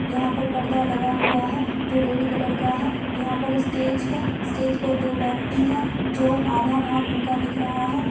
यह पर पर्दा लगा हूआ है जो रेड कलर का है| यहाँ पर स्टेज है| स्टेज पे दो व्यक्ति है जो आधा भाग उनका दिख रहा है।